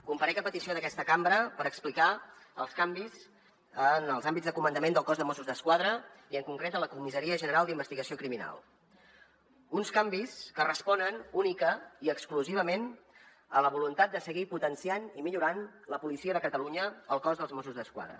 comparec a petició d’aquesta cambra per explicar els canvis en els hàbits de comandament del cos de mossos d’esquadra i en concret de la comissaria general d’investigació criminal uns canvis que responen únicament i exclusivament a la voluntat de seguir potenciant i millorant la policia de catalunya el cos de mossos d’esquadra